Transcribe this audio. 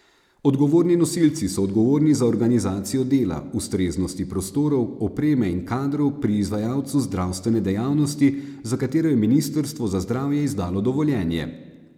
Odgovorni nosilci so odgovorni za organizacijo dela, ustreznosti prostorov, opreme in kadrov pri izvajalcu zdravstvene dejavnosti, za katero je ministrstvo za zdravje izdalo dovoljenje.